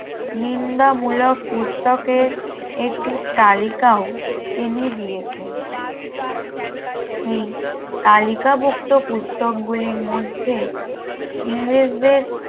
নিন্দা মূলক পুস্তকের একটি তালিকা ও তিনি দিয়েছেন কালিকাভুক্ত পুস্তকগুলির মধ্যে ইংরেজদের